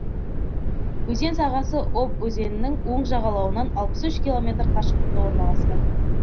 өзен сағасы обь өзенінің оң жағалауынан алпыс үш километр қашықтықта орналасқан